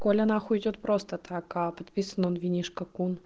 коля на хуй уйдёт просто так а подписан он винишко кун